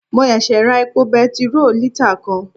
Mo sèsè ra epo petiró lítà kan